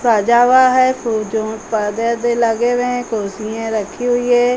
सजा हुआ है। खूब जों परदे अर्दे लगे हुए हैं। कुर्सिये रखी हुई हैं।